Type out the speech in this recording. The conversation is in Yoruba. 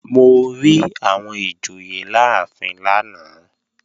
Mo rí àwọn ìjòyè láàfin lánàá